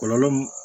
Kɔlɔlɔ mun